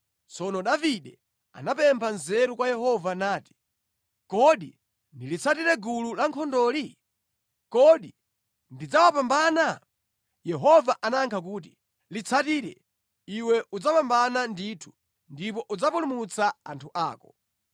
Tsono Davide anapempha nzeru kwa Yehova nati, “Kodi ndilitsatire gulu lankhondoli? Kodi ndidzawapambana?” Yehova anayankha kuti, “Litsatire, iwe udzawapambana ndithu ndipo udzapulumutsa anthu ako.”